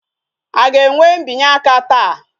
A ga-enwe mbinye aka taa?